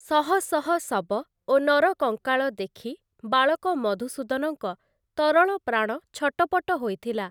ଶହଶହ ଶବ ଓ ନରକଙ୍କାଳ ଦେଖି ବାଳକ ମଧୁସୂଦନଙ୍କ ତରଳପ୍ରାଣ ଛଟପଟ ହୋଇଥିଲା ।